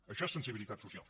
això és sensibilitat social